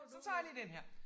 Så tager jeg lige den her